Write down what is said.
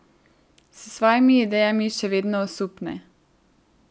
S svojimi idejami še vedno osupne.